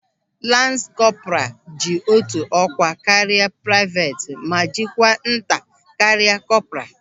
Lans kọpra ji otu ọkwa karịa praivet ma dịkwa nta karịa kọpra.